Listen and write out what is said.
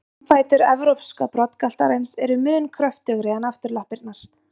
Framfætur evrópska broddgaltarins eru mun kröftugri en afturlappirnar.